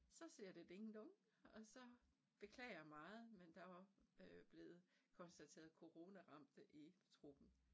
Så siger det ding dong og så beklager meget men der var øh blevet konstateret coronaramt i truppen